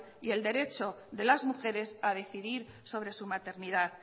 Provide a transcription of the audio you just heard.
y el derecho de las mujeres a decidir sobre su maternidad